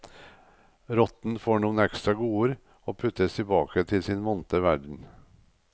Rotten får noen ekstra godord og puttes tilbake til sin vante verden.